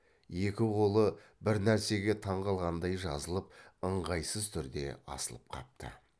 екі қолы бір нәрсеге таңғалғандай жазылып ыңғайсыз түрде асылып қапты